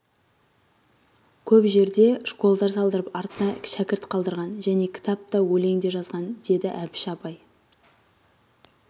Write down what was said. көп жерде школдар салдырып артына шәкірт қалдырған және кітап та өлең де жазған деді әбіш абай